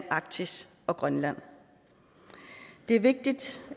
arktis og grønland det er vigtigt